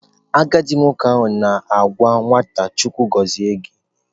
Agadi nwoke na-agwa nwata "" Chukwu gozie gi"."